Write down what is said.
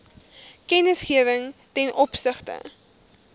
kennisgewing ten opsigte